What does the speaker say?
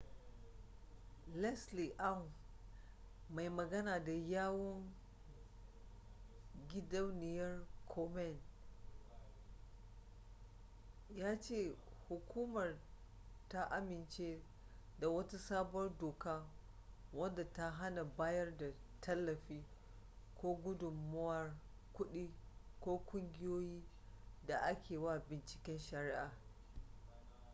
leslie aun mai magana da yawun gidauniyar komen ya ce hukumar ta amince da wata sabuwar doka wadda ta hana bayar da tallafi ko gudunmuwar kuɗi ga ƙungiyoyin da ake wa bunciken shari'a